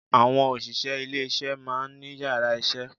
Àwọn òṣìṣẹ́ ilé isé maá ní yàrá isé